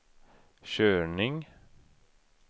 körning